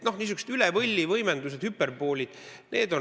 Niisugused üle võlli võimendused, hüperboolid.